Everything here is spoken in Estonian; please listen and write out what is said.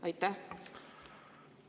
Aitäh!